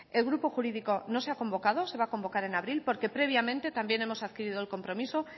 el grupo jurídico no se ha convocado se va a convocar en abril porque previamente también hemos adquirido el compromiso